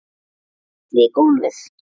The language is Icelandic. Skelli í gólfið.